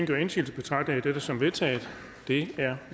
gør indsigelse betragter jeg dette som vedtaget det er